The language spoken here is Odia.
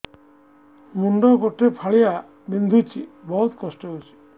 ମୁଣ୍ଡ ଗୋଟେ ଫାଳିଆ ବିନ୍ଧୁଚି ବହୁତ କଷ୍ଟ ହଉଚି